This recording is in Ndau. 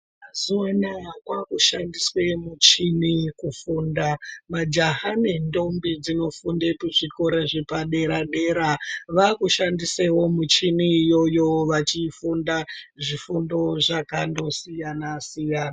Mazuva anawa kwavakushandiswa michini kufunda. Majaha nendombi dzinofunda kuzvikora zvepadera dera vava kushandisawo michini iyoyo vachifunda zvifundo zvakandosiyana siyana.